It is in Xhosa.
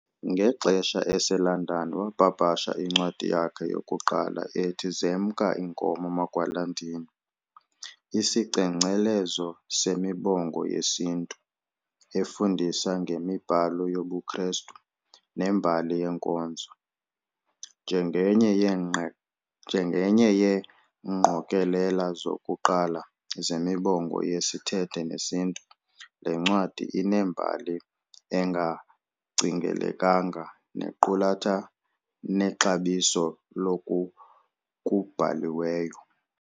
Ngexesha eseLondon wapapasha incwadi yakhe yokuqala ethi Zemka Inkomo Magwalandini, isicengcelezo semibongo yesiNtu, efundisa ngemibhalo yobuKristu nembali yenkonzo. Njengenye yeengqokelela zokuqala zemibongo yesithethe nesiNtu, le ncwadi inembali engacingelekanga nequlatha nexabiso loku kubhaliweyo.